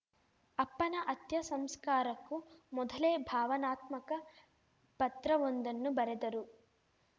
ಅಪ್ಪನ ಅತ್ಯಸಂಸ್ಕಾರಕ್ಕೂ ಮೊದಲೇ ಭಾವನಾತ್ಮಕ ಪತ್ರವೊಂದನ್ನು ಬರೆದರು